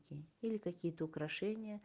или какие то украшения